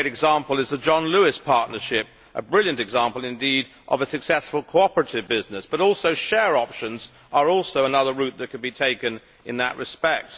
One great example is the John Lewis Partnership, a brilliant example indeed of a successful cooperative business but share options are another route that can be taken in that respect.